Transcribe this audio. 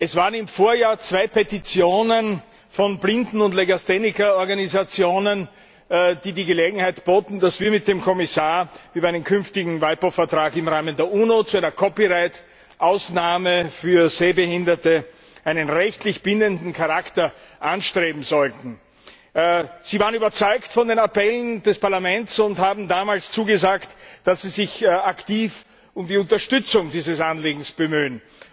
Es gab im Vorjahr zwei Petitionen von Blinden und Legastheniker Organisationen, die darauf hinwiesen, dass wir mit dem Kommissar bei einem künftigen WIPO Vertrag im Rahmen der UNO zu einer Copyright Ausnahme für Sehbehinderte einen rechtlich bindenden Charakter anstreben sollten. Sie waren überzeugt von den Appellen des Parlaments und haben damals zugesagt, dass Sie sich aktiv um die Unterstützung dieses Anliegens bemühen.